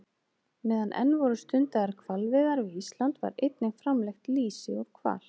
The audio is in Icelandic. Meðan enn voru stundaðar hvalveiðar við Ísland var einnig framleitt lýsi úr hval.